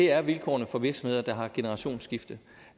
er vilkårene for virksomheder der har generationsskifte